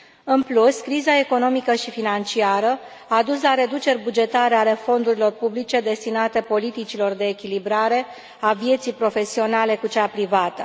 În plus, criza economică și financiară a dus la reduceri bugetare ale fondurilor publice destinate politicilor de echilibrare a vieții profesionale cu cea privată.